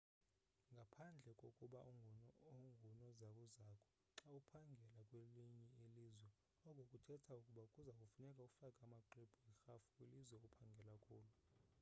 ngaphandle kokuba ungunozakuzaku xa uphangela kwelinye ilizwe oko kuthetha ukuba kuza kufuneka ufake amaxwebhu erhafu kwilizwe ophangela kulo